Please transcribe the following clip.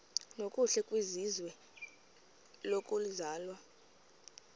nokuhle kwizwe lokuzalwa